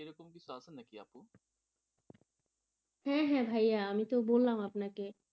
হ্যাঁ হ্যাঁ ভাইয়া আমি তো বললাম আপনাকে,